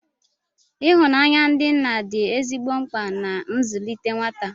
Ihụnanya ndị nna dị ezigbo mkpa na nzụlite nwata